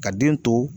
Ka den to